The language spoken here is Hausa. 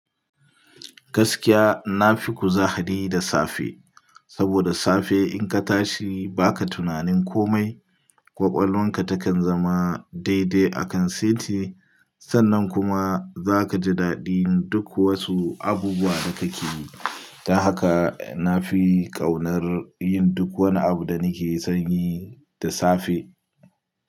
Gaskiya na fi kuzari da safe, saboda da safe indan ka tashi ba ka yin tunanin komai, kwakwalwanka takan zama daidai akan seti. Sannan kuma za ka ji daɗin duk wasu abubuwa da kake yi. Don haka na fi ƙaunar yin duk wani abu da nake son yi da safe.